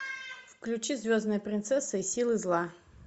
включи звездная принцесса и силы зла